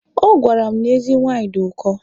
Ọ gwara m na ezi nwaanyị dị ụkọ.